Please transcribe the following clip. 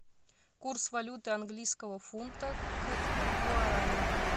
курс валюты английского фунта к гуарани